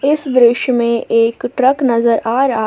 इस दृश्य में एक ट्रक नजर आ रहा--